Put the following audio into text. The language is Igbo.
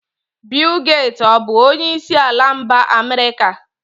Bill Gates ọ bụ onyeisi ala mba America?